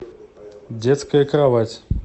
детская кровать